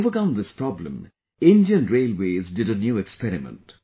To overcome this problem, Indian Railways did a new experiment